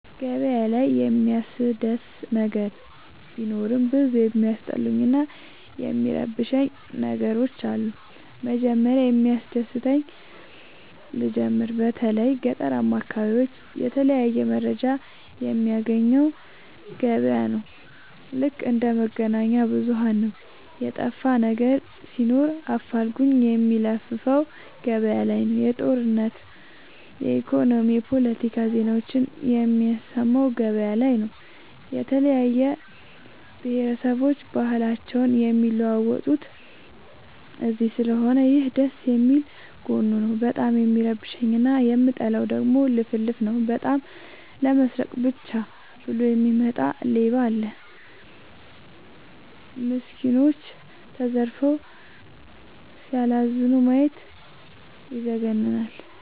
ገበያ ላይ የሚያስደስ ነገር ቢኖርም ብዙ የሚያስጠሉኝ እና የሚረብሸኝ ነገሮች አሉ። መጀመሪያ ከሚያስደስተኝ ልጀምር በተለይ ገጠራማ አካቢዎች የተለያየ መረጃ የሚያገኘው ገበያ ነው። ልክ እንደ መገናኛብዙኋን ነው የጠፋነገር ሲኖር አፋልጉኝ የሚለፍፈው ገበያላይ ነው። የጦርነት የኢኮኖሚ የፓለቲካ ዜናዎችን የሚሰማው ገበያ ላይ ነው። የተለያየ ብሆረሰቦች ባህልአቸውን የሚለዋወጡት እዚስለሆነ ይህ ደስየሚል ጎኑ ነው። በጣም የሚረብሸኝ እና የምጠላው ደግሞ ልፍልፍ ነው። በጣም ለመስረቃ ብቻ ብሎ የሚወጣ ሌባም አለ። ሚስኩኖች ተዘርፈው ሲያላዝኑ ማየት ይዘገንናል።